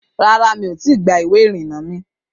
Rárá, mi ò tí ì gba ìwé-ìrìnà mi